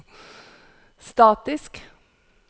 statisk